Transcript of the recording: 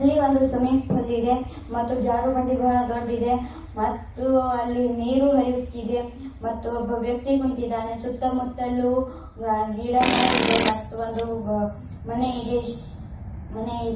ಇಲ್ಲಿ ಒಂದು swimming pool ಇದೆ ಮತ್ತು ಜಾರು ಬಂಡಿ ಬಹಳ ದೊಡ್ ಇದೇ ಮತ್ತು ಅಲ್ಲಿ ನೀರು ಹರಿಯುತ್ತಿದೆ. ಮತ್ತು ಒಬ್ಬ ವ್ಯಕ್ತಿ ಕುಂತಿದ್ದಾನೆ. ಸುತ್ತಮುತ್ತಲು ಗಿಡಮರ ಇದೆ ಮತ್ತು ಒಂದು ಮನೆ ಇದೆ ಇಶ್ ಮನೆ--